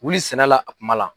Wuli sɛnɛ la a kuma la.